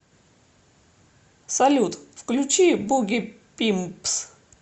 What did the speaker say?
салют включи буги пимпс